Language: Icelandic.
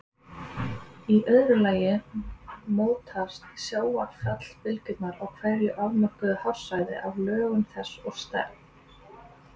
Í öðru lagi mótast sjávarfallabylgjurnar á hverju afmörkuðu hafsvæði af lögun þess og stærð.